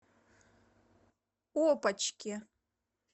опочке